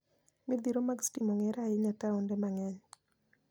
Midhiro mag stima ong'ere ahinya e taonde mang'eny.